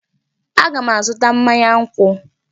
Aga m azụta mmanya nkwụ.